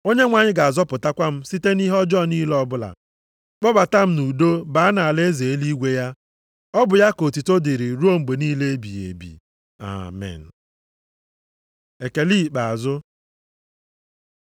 Onyenwe anyị ga-azọpụtakwa m site nʼihe ọjọọ niile ọbụla, kpọbata m nʼudo baa nʼalaeze eluigwe ya. Ọ bụ ya ka otuto dịrị ruo mgbe niile ebighị ebi. Amen. Ekele ikpeazụ